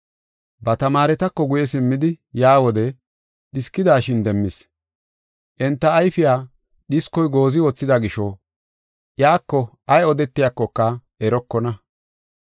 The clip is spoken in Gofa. Ba tamaaretako guye simmidi yaa wode, dhiskidashin demmis. Enta ayfiya dhiskoy goozi wothida gisho, iyako ay odetiyakoka erokona.